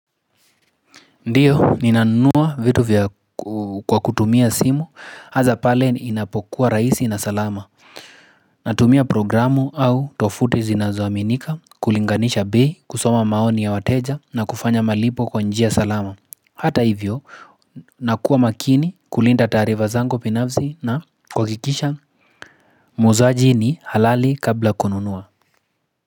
Ndio ninanunua vitu kwa kutumia simu hasa pale inapokuwa rahisi na salama natumia programu au tovuti zinazoaminika kulinganisha bei, kusoma maoni ya wateja na kufanya malipo kwa njia salama. Hata hivyo nakuwa makini kulinda taarifa zangu binafsi na kuhakikisha mwuzaji ni halali kabla ya kununua.